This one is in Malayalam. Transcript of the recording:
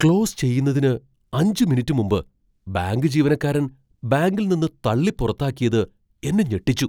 ക്ലോസ് ചെയ്യുന്നതിന് അഞ്ച് മിനിറ്റ് മുമ്പ് ബാങ്ക് ജീവനക്കാരൻ ബാങ്കിൽ നിന്ന് തള്ളി പുറത്താക്കിയത് എന്നെ ഞെട്ടിച്ചു.